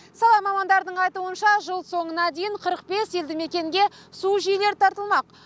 сала мамандардың айтуы бойынша жыл соңына дейін қырық бес елді мекенге су жүйелері тартылмақ